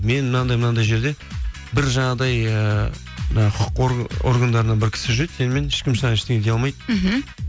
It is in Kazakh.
мен мынандай мынандай жерде бір жаңағыдай ыыы мына құқық органдарынан бір кісі жүреді сенімен ешкім саған ештеңе дей алмайды мхм